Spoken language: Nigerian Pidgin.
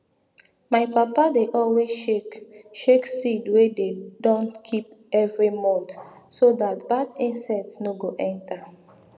my papa dey always shake shake seed wey dey don keep evri month so dat bad insect nor go enter